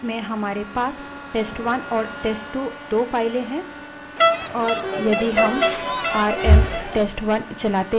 मान लो कि हमारी present working directory में हमारे पास test1 और test2 दो files हैं